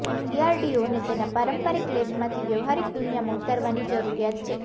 ડીઆરડીઓને તેના પારંપારિક લેબમાંથી વ્યહારિક દુનિયામાં ઉતારવાની જરૂરિયાત છે